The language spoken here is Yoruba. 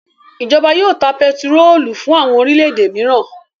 Ìjọba yóò ta pẹtírólù fún àwọn orílẹ̀-èdè mìíràn.